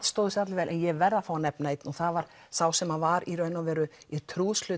stóðu sig allir vel en ég verð að fá að nefna einn og það var sá sem var í rauninni í